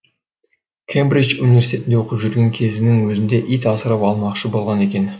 кембридж университетінде оқып жүрген кезінің өзінде ит асырап алмақшы болған екен